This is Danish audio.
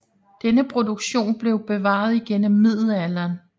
Denne produktion blev bevaret igennem middelalderen